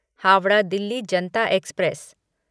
Howrah Delhi Janata express